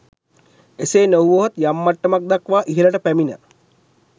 එසේ නොවුවහොත් යම් මට්ටමක් දක්වා ඉහලට පැමිණ